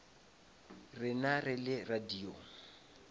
rena re le radio